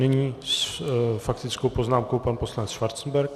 Nyní s faktickou poznámkou pan poslanec Schwarzenberg.